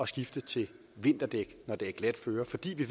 skifte til vinterdæk når det er glat føre fordi vi